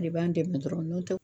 O de b'an dɛmɛ dɔrɔn